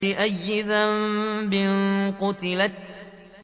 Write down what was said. بِأَيِّ ذَنبٍ قُتِلَتْ